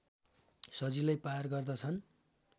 सजिलै पार गर्दछन्